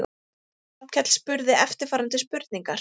Hrafnkell spurði eftirfarandi spurningar: